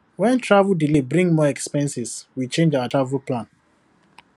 when travel delay bring more expenses we change our travel plan